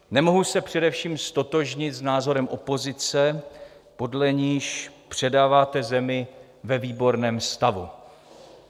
Nemohu se především ztotožnit s názorem opozice, podle níž předáváte zemi ve výborném stavu.